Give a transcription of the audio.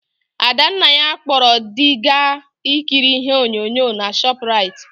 Adannaya kpọrọ dị gaa ikiri ihe onyonyo na Shọprait.